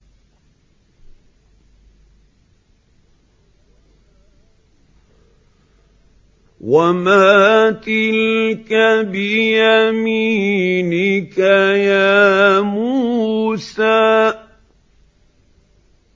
وَمَا تِلْكَ بِيَمِينِكَ يَا مُوسَىٰ